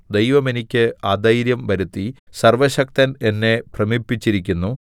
ദൈവം എനിക്ക് അധൈര്യം വരുത്തി സർവ്വശക്തൻ എന്നെ ഭ്രമിപ്പിച്ചിരിക്കുന്നു